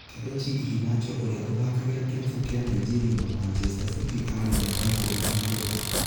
Kelechi Iheanacho ũria ũthakagira kĩravũkĩa Nigeria & Manchester City arĩ numba ikũmi na kenda.